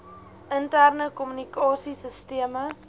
interne kommunikasie sisteme